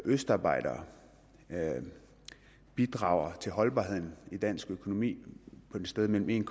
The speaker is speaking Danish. østarbejdere bidrager til holdbarheden i dansk økonomi på et sted mellem en